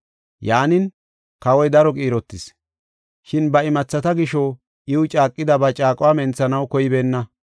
Yaanin, kawoy daro qiirotis, shin ba imathata gisho iw caaqida ba caaquwa menthanaw koybeenna.